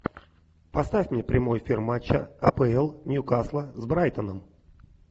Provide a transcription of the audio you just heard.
поставь мне прямой эфир матча апл ньюкасла с брайтоном